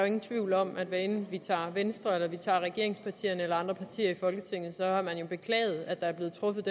ingen tvivl om at hvad enten vi tager venstre regeringspartierne eller andre partier i folketinget har man jo beklaget at der er blevet truffet